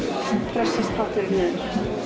pressast pappírinn niður